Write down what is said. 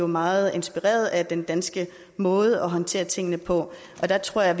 meget inspireret af den danske måde at håndtere tingene på der tror jeg